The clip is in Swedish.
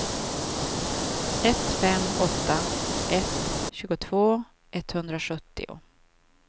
ett fem åtta ett tjugotvå etthundrasjuttio